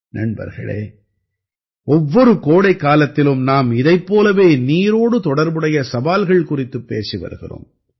நண்பர்களே ஒவ்வொரு கோடைக்காலத்திலும் நாம் இதைப் போலவே நீரோடு தொடர்புடைய சவால்கள் குறித்துப் பேசி வருகிறோம்